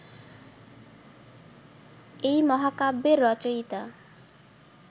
এই মহাকাব্যের রচয়িতা